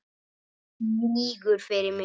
Hún lýgur fyrir mig.